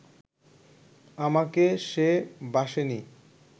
আমাকে সে বাসেনি